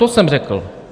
To jsem řekl.